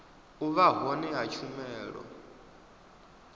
u vha hone ha tshumelo